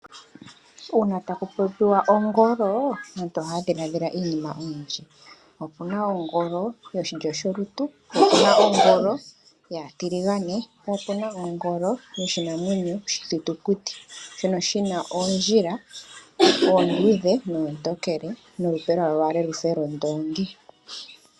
Uuna taku popiwa ongolo, aantu ohaya dhiladhila iinima oyindji. Opuna ongolo yoshilyo sholutu, opuna ongolo yaatiligane, opuna ongolo yoshinamwenyo oshithitukuti. Oshina oondjila oontonkele noonduudhe molupe lwalo olwa fa londoongi.